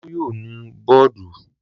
Olú yóò nu bọ́ọ́dù.